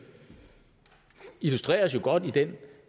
illustreres jo godt i den